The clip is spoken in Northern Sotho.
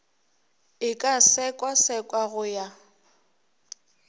e ka sekasekwa go ya